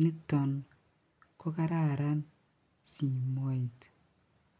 niton ko kararan simoit.